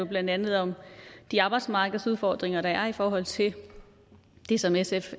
blandt andet om de arbejdsmarkedsudfordringer der er i forhold til det som sf